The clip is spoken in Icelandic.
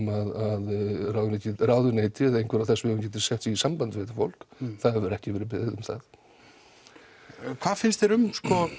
að ráðuneytið ráðuneytið eða einhver af þessum geti sett sig í samband við þetta fólk það hefur ekki verið beðið um það hvað finnst þér um